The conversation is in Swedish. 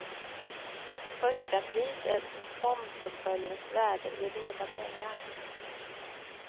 Förstapris är fondportföljens värde i reda pengar.